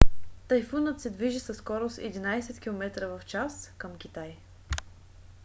тайфунът се движи със скорост 11 км/ч към китай